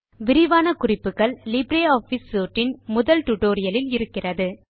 விரிவான குறிப்புகள் LibreOffice suite இன் முதல் டுடோரியலில் இருக்கிறது